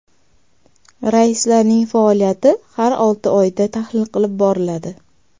Raislarning faoliyati har olti oyda tahlil qilib boriladi.